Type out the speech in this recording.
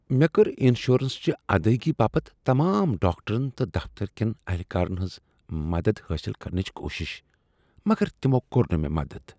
مےٚ کٔر انشورنس چہ ادٲیگی باپتھ تمام ڈاکٹرن تہٕ دفتر کیٚن اہلکارن ہنٛز مدد حٲصل کرنٕچ کوٗشش۔ مگر تمو کور نہٕ مےٚ مدد۔